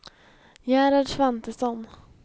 Gerhard Svantesson